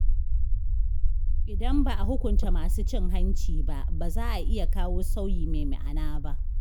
Idan ba a hukunta masu cin hanci ba, ba za a iya kawo sauyi mai ma’ana ba.